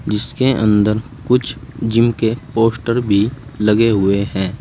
जिसके अंदर कुछ जिम के पोस्टर भी लगे हुए हैं।